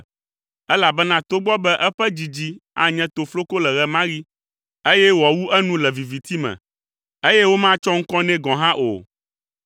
elabena togbɔ be eƒe dzidzi anye tofloko le ɣe ma ɣi, eye wòawu enu le viviti me, eye womatsɔ ŋkɔ nɛ gɔ̃ hã o,